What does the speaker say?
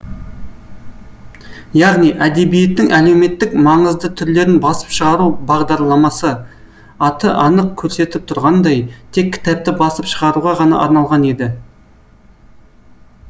яғни әдебиеттің әлеуметтік маңызды түрлерін басып шығару бағдарламасы аты анық көрсетіп тұрғандай тек кітапты басып шығаруға ғана арналған еді